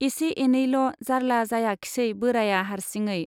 एसे एनैल' जार्ला जायाखिसै बोराया हार्सिङै।